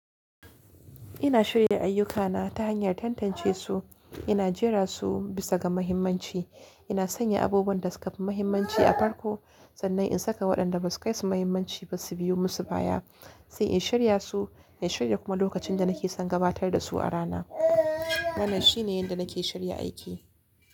Ina shirya ayyukana ta hanyar tantancesu, ina jera su bisa ga muhimmanci. Ina sanya abubuwan da suka fi muhimmanci a farko sannan in saka waɗanda ba su kai su muhimmanci ba su biyu musu baya, sai in shirya su, in shirya kuma lokacin da nake son gabatar da su a rana. Wannan shi ne yanda nake shirya aiki.